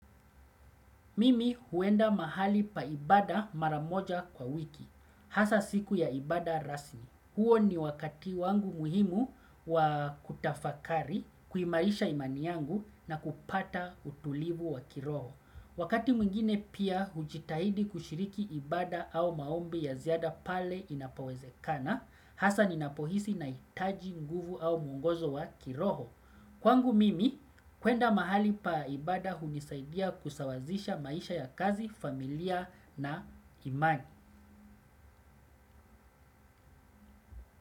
Mimi huenda mahali pa ibada mara moja kwa wiki. Hasa siku ya ibada rasmi. Huo ni wakati wangu muhimu wa kutafakari, kuimarisha imani yangu na kupata utulivu wa kiroho. Wakati mwingine pia hujitahidi kushiriki ibada au maombi ya ziada pale inapowezekana. Hasa ninapohisi nahitaji nguvu au mwongozo wa kiroho. Kwangu mimi, kwenda mahali pa ibada hunisaidia kusawazisha maisha ya kazi, familia na imani.